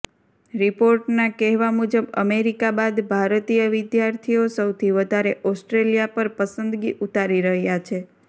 રિપોર્ટના કહેવા મુજબ અમેરિકા બાદ ભારતીય વિદ્યાર્થીઓ સૌથી વધારે ઓસ્ટ્રેલિયા પર પસંદગી ઉતારી રહ્યા છે